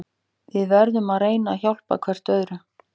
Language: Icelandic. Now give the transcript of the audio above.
Við verðum að reyna að hjálpa hver öðrum.